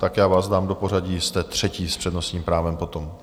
Tak já vás dám do pořadí, jste třetí s přednostním právem potom.